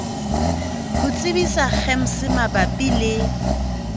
ho tsebisa gems mabapi le